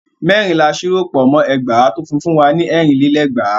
Mẹ́rin la ṣírò pọ̀ mọ́ ẹgbàá tó fún wa ní ẹ̀rin lé lẹ́gbàá.